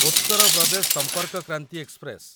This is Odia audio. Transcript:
ଉତ୍ତର ପ୍ରଦେଶ ସମ୍ପର୍କ କ୍ରାନ୍ତି ଏକ୍ସପ୍ରେସ